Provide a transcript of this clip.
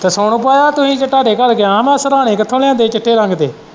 ਤੇ ਸੋਨੂੰ ਪਾ ਤੁਸੀਂ ਤੁਹਾਡੇ ਘਰ ਗਿਆ ਹੀ ਮੈਂ ਸਿਰਾਹਣੇ ਕਿੱਥੋਂ ਲਿਆਂਦੇ ਹੀ ਚਿੱਟੇ ਰੰਗ ਦੇ।